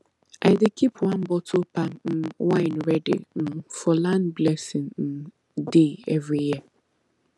i dey keep one bottle palm um wine ready um for land blessing um day every year